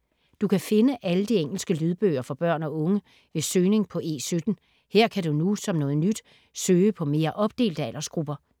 Du kan finde alle de engelske lydbøger for børn og unge ved søgning på E17. Her kan du nu som noget nyt søge på mere opdelte aldersgrupper.